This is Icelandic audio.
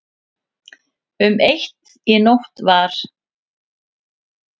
Um eitt í nótt var